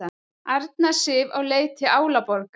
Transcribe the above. Arna Sif á leið til Álaborgar